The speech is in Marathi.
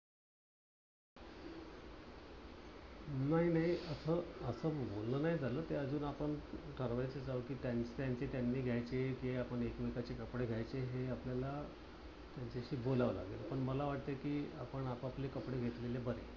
नाही नाही अस बोलण नाही झालं. ते अजून आपण ठर्वायच कारण कि त्यांचे त्यांनी घ्यायचे कि आपण एकमेकाचे कपडे घ्यायचे. हे आपल्याला त्यांच्याशी बोलावं लागेल. पण मला वाटतय कि आपण आपापले कपडे घेतलेले बरे.